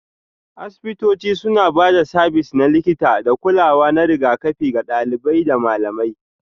Asibitoci suna ba da sabis na likita da kulawa na rigakafi ga ɗalibai da malamai